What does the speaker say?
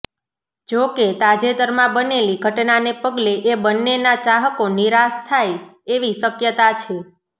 જોકે તાજેતરમાં બનેલી ઘટનાને પગલે એ બન્નેના ચાહકો નિરાશ થાય એવી શક્યતા છે